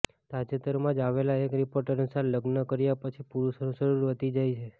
તાજેતરમાં જ આવેલા એક રિપોર્ટ અનુસાર લગ્ન કર્યા પછી પુરૂષોનું શરીર વધી જાય છે